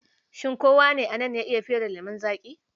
Shin kowa ne a nan ya iya fere lemon zaƙi?